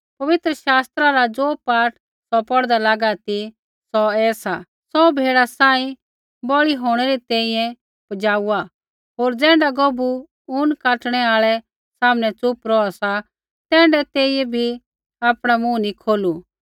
पवित्र शास्त्रा रा ज़ो पाठ सौ पौढ़दा लागा ती सौ ऐसा सौ भेड़ा सांही बलि होंणै री तैंईंयैं पजाउआ होर ज़ैण्ढा गौभू ऊन काटणू आल़ै सामनै च़ुप रौहा तैण्ढाऐ तेइयै बी आपणा मुँह नी खोलू